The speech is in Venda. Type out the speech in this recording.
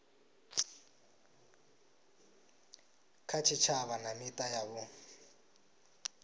kha tshitshavha na mita yavho